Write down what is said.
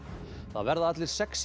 það verða allir sexí